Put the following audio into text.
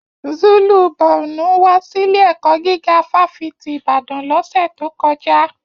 Zulu Borno wà síle ẹkọ gíga fafiti Ìbàdàn l'ọsẹ to kọjá.